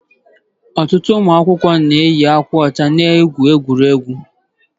Ọtụtụ ụmụ akwụkwọ na-eyi akwa ọcha n'oge egwuregwu.